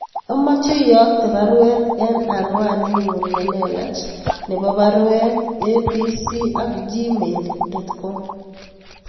Amoche iyokte baruet en anwaninyun nelelach nebo baruet a.b.c at gmail dot com